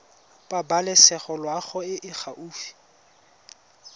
pabalesego loago e e gaufi